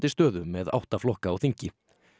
stöðu með átta flokka á þingi